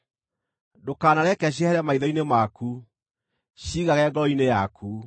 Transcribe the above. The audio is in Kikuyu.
Ndũkanareke ciehere maitho-inĩ maku, ciigage ngoro-inĩ yaku;